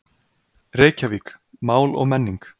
Reykjavík, Mál og menning.